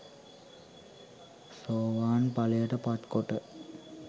සෝවාන් ඵලයට පත් කොට